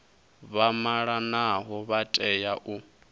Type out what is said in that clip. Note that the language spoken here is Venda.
vha malanaho vha tea u